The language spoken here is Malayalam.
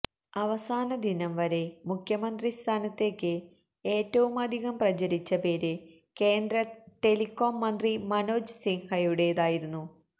അവസാന ദിനം വരെ മുഖ്യമന്ത്രി സ്ഥാനത്തേക്ക് ഏറ്റവുമധികം പ്രചരിച്ച പേര് കേന്ദ്ര ടെലികോം മന്ത്രി മനോജ് സിൻഹയുടേതായിരുന്നു